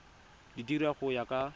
di dira go ya ka